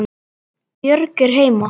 Björg er heima.